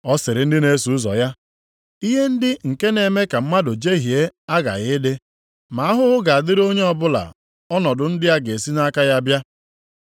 Ọ sịrị ndị na-eso ụzọ ya, “Ihe ndị nke na-eme ka mmadụ jehie aghaghị ịdị, ma ahụhụ ga-adịrị onye ọbụla ọnọdụ ndị a ga-esi nʼaka ya bịa.